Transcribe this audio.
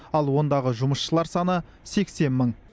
ал ондағы жұмысшылар саны сексен мың